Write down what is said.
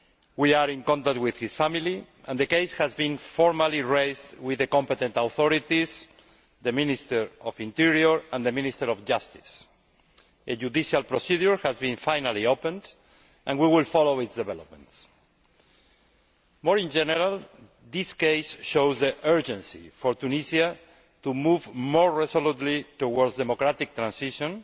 We are in contact with his family, and the case has been formally raised with the competent authorities the Minister of the Interior and the Minister of Justice. A judicial procedure has finally been opened, and we will follow its development. More generally, this case shows the urgency for Tunisia to move more resolutely towards democratic transition